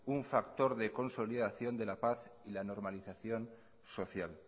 un factor de consolidación de la paz y la normalización social